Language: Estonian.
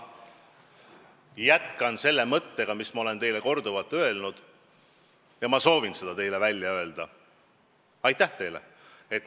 Ma jätkan mõttega, mida ma olen juba korduvalt öelnud ja mille ma soovin ka teile välja öelda: aitäh teile!